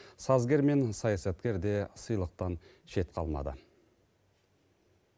сазгер мен саясаткер де сыйлықтан шет қалмады